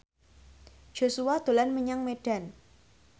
Joshua dolan menyang Medan